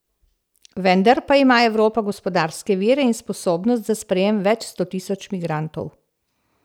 Vendar pa ima Evropa gospodarske vire in sposobnost za sprejem več sto tisoč migrantov.